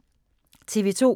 TV 2